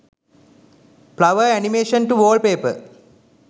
flower animation to wallpaper